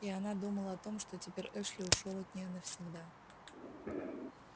и она думала о том что теперь эшли ушёл от неё навсегда